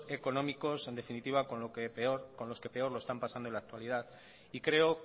económicos en definitiva con los que peor lo están pasando en la actualidad y creo